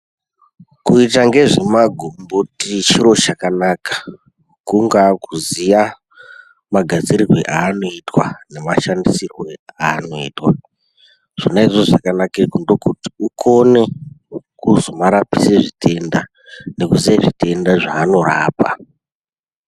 Kuita nezvemagomboti chiro chakanaka kungava kuziya magadzirirwo anoitwa nemashandisirwo anoitwa zvona izvozvo zvakanakira kuti ukone kuzomarapisa zvitenda nekuziya zvitenda zvaanorapa.